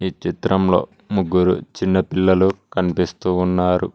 ఈ చిత్రంలో ముగ్గురు చిన్న పిల్లలు కనిపిస్తూ ఉన్నారు.